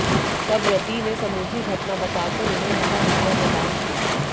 तब रति ने समूची घटना बता कर उन्हें महा विद्या प्रदान की